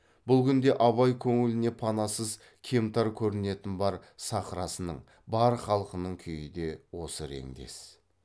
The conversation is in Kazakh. бұл күнде абай көңіліне панасыз кемтар көрінетін бар сахрасының бар халқының күйі де осы реңдес